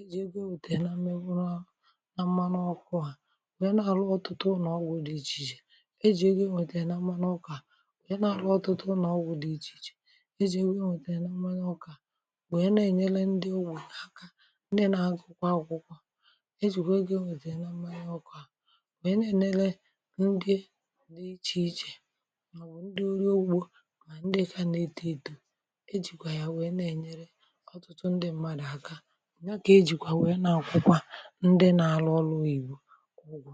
e jì e gị e nwètèrè na mmanụ ọkụ̇ à bụ̀ e na-àlọghọ̀ ọtụtụ nà ọgwụ̇ dị ichè ichè e jì e gị e nwètèrè na mmanụ ọkụ̇ à bụ̀ e na-àlọghọ̀ ọtụtụ nà ọgwụ̇ dị ichè ichè e jì e rie nwètèrè na mmanụ ọkụ̇ à bụ̀ e na-ènyele ndị owù n’aka ndị na-agà ụkwụ akwụkwọ e jì kwe gị e nwètèrè na mmanụ ọkụ̇ à bụ̀ e na-ènele ndị dị ichè ichè ichè mà ǹdị eke anà-eta ètu̇ ejìkwà yà nwèe na-ènyere ọ̀tụtụ ndị mmadụ̀ aka ọ̀ nye kà ejìkwà nwèe nà akwụkwọ ndị nà-alụ ọrụ ibù kà ụgwọ